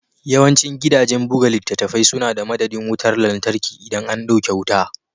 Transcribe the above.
Yawancin gidajen buga littattafai suna da madadin wutar lantarki idan an dauke wuta.